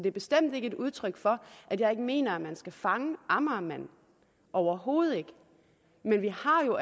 er bestemt ikke et udtryk for at jeg ikke mener at man skal fange amagermanden overhovedet ikke men vi har jo